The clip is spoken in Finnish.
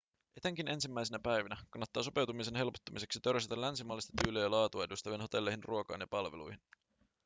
etenkin ensimmäisinä päivinä kannattaa sopeutumisen helpottumiseksi törsätä länsimaalaista tyyliä ja laatua edustaviin hotelleihin ruokaan ja palveluihin